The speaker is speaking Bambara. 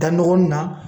Da ɲɔgɔn na